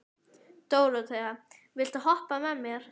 Dóróþea, viltu hoppa með mér?